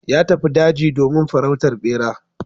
Ya tafi daji domin farautar ɗera.